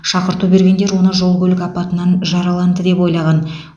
шақырту бергендер оны жол көлік апатынан жараланды деп ойлаған